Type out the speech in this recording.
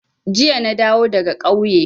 Jiya na dawo daga ƙauye.